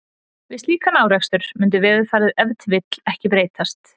við slíkan árekstur mundi veðurfarið ef til vill ekki breytast